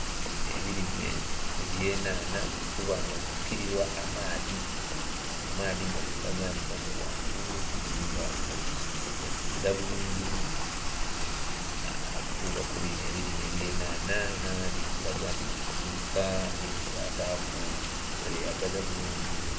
Ebirime eby'enhanha biri kuba nga bifukirirwa amaadhi nga amaadhi gali kulaga nti gava ghangulu ate nga gali kwidha bulungi inho okutuuka ku bino ebirime eby'enhanha, enhanha dhiri kulaga nti dhiri kumulika, edhindhi dhataaku, kyeyagaza bulungi inho.